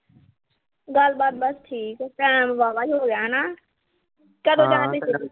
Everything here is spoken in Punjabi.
ਗੱਲਬਾਤ ਬਸ ਠੀਕ ਆ। time ਵਾਹਵਾ ਜਾ ਹੋਗਿਆ ਹਨਾ।